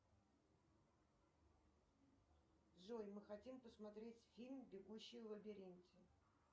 джой мы хотим посмотреть фильм бегущий в лабиринте